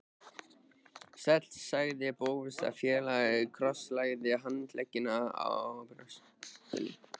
Sæll sagði Bóas fálega og krosslagði handleggina á brjóstinu.